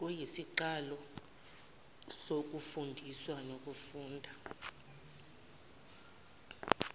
kuyisiqalo sokufundiswa nokufundwa